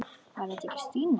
Var þetta ekki Stína?